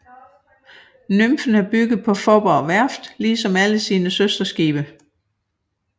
Nymfen er bygget på Faaborg Værft ligesom alle sine søsterskibe